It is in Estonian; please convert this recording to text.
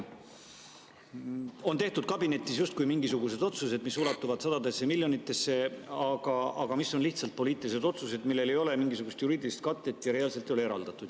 Kabinetis on tehtud justkui mingisugused otsused, mis ulatuvad sadadesse miljonitesse, aga mis on lihtsalt poliitilised otsused, millel ei ole mingisugust juriidilist katet ja seda reaalselt ei ole eraldatud.